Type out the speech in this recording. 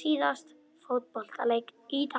síðasta fótboltaleik í dag.